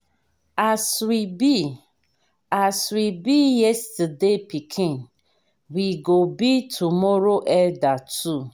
as we be as we be yesterday pikin we go be tomorrow elder too.